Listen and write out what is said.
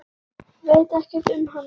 Veit ekkert um hana.